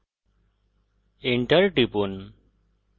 enter টিপুন